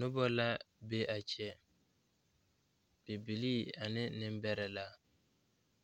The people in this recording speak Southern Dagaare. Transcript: Nobɔ la be a kyɛ bibilii ane neŋbɛrɛ la